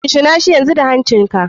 Shinshinashi yanzu da hancin ka.